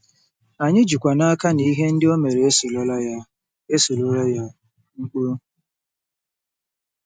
Anyị jikwa n’aka na ‘ihe ndị o mere esorola ya. esorola ya. ’—Mkpu.